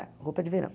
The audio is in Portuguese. Roupa de verão.